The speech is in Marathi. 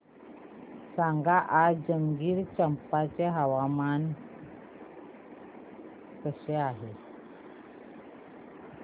सांगा आज जंजगिरचंपा चे हवामान कसे आहे